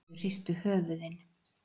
Þau hristu höfuðin.